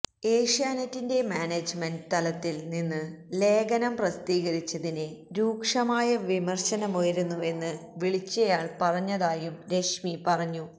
ഏഷ്യാനെറ്റിന്റെ മാനേജ്മെന്റ് തലത്തില് നിന്ന് ലേഖനം പ്രസിദ്ധീകരിച്ചതിനെ രൂക്ഷമായ വിമര്ശനമുയരുന്നുവെന്ന് വിളിച്ചയാള് പറഞ്ഞതായും രശ്മി പറഞ്ഞു